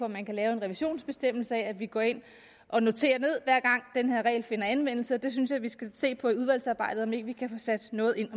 man kan lave en revisionsbestemmelse sådan at vi går ind og noterer ned hver gang den her regel finder anvendelse jeg synes vi skal se på i udvalgsarbejdet om ikke vi kan få sat noget ind